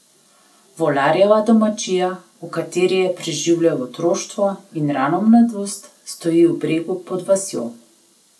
Volarjeva domačija, v kateri je preživljal otroštvo in rano mladost, stoji v bregu pod vasjo.